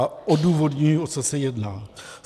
A odůvodním, o co se jedná.